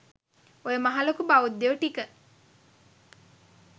ඔය මහ ලොකු බෞද්ධයො ටික